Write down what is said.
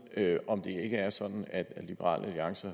om det ikke er sådan at liberal alliance